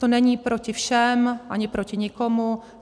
To není proti všem ani proti nikomu.